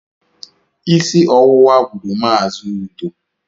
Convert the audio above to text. Isi ọwụwa gburu Mazi Udo